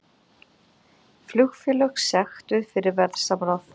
Flugfélög sektuð fyrir verðsamráð